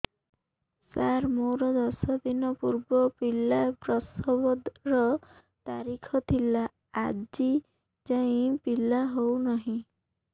ସାର ମୋର ଦଶ ଦିନ ପୂର୍ବ ପିଲା ପ୍ରସଵ ର ତାରିଖ ଥିଲା ଆଜି ଯାଇଁ ପିଲା ହଉ ନାହିଁ